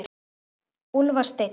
Úlfar Steinn.